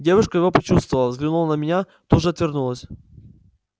девушка его почувствовала взглянула на меня тут же отвернулась